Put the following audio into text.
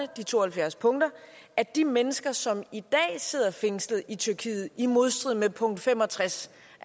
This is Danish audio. de to og halvfjerds punkter at de mennesker som i dag sidder fængslet i tyrkiet i modstrid med punkt fem og tres